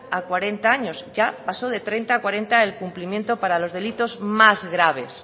a cuarenta años ya pasó de treinta a cuarenta el cumplimento para los delitos más graves